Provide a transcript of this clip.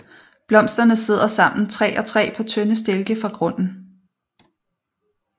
Blomsterne sidder sammen tre og tre på tynde stilke fra grunden